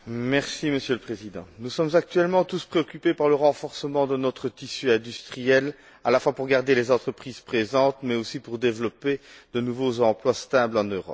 Monsieur le Président, nous sommes actuellement tous préoccupés par le renforcement de notre tissu industriel, à la fois pour garder les entreprises présentes mais aussi pour développer de nouveaux emplois stables en Europe.